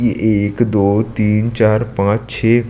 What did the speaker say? ये एक दो तीन चार पांच छे--